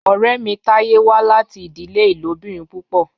Ọrẹ mi Taye wa lati idile ilobirin pupọ.